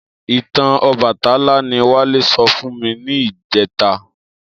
Itàn Òbàtãlá ni Wale sò fún mi nijètá